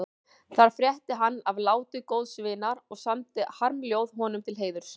Þar frétti hann af láti góðs vinar og samdi harmljóð honum til heiðurs.